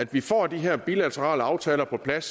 vi får de her bilaterale aftaler på plads